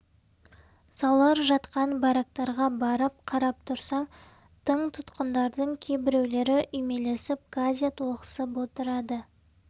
саулар жатқан барактарға барып қарап тұрсаң тың тұтқындардың кейбіреулері үймелесіп газет оқысып отырады